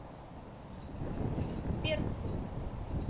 перцы